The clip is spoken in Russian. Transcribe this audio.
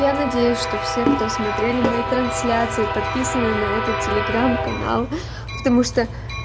я надеюсь что все кто смотрели мои трансляции подписаны на этот телеграм канал потому что